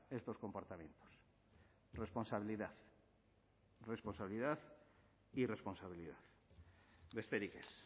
estos comportamientos responsabilidad responsabilidad y responsabilidad besterik ez